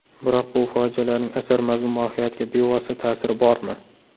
Biroq bu fojialarning asar mazmun-mohiyatiga bevosita ta’siri bormi?